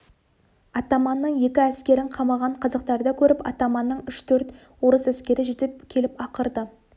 атаманның екі әскерін қамаған қазақтарды көріп атаманның үш-төрт орыс әскері жетіп келіп ақырды